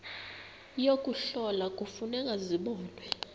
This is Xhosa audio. yokuhlola kufuneka zibonwe